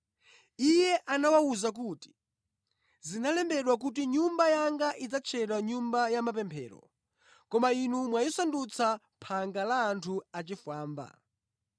Iye anawawuza kuti, “Zinalembedwa kuti Nyumba yanga idzatchedwa Nyumba ya mapemphero koma inu mwayisandutsa phanga la anthu achifwamba.”